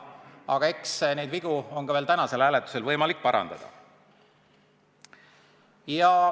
Aga eks neid vigu ole tänasel hääletusel võimalik parandada.